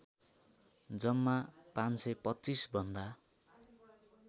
जम्मा ५२५ भन्दा